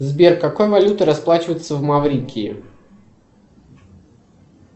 сбер какой валютой расплачиваются в маврикии